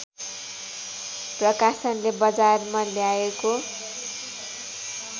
प्रकाशनले बजारमा ल्याएको